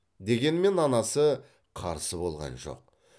дегенмен анасы қарсы болған жоқ